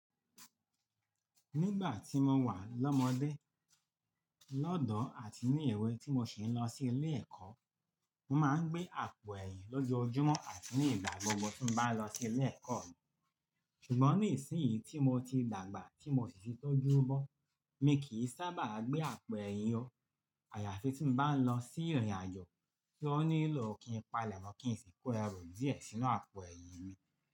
Nígbà tí mo wà lọ́mọdé, lọ́dọ̀ àti ní èwe tí mo sì ń lọ sí ilé ẹ̀kọ́, mo máa ń gbé àpò ẹ̀yìn lójoojúmọ́ àti nígbà gbogbo tí mo bá lọ sí ilé ẹ̀kọ́ mi. Ṣùgbọ́n nísìnyí tí mo ti dàgbà tí mo sì ti tọ́jú bọ̀, mi kì í sábà gbé àpò ẹ̀yìn o àyàfi tí mo bá ń lọ sí ìrìnàjò tí ó nílò kí n palẹ̀ mọ́ kí n sì kó ẹrù díẹ̀ sínú àpò ẹ̀yìn mi.